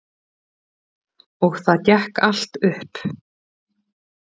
Og það gekk allt upp.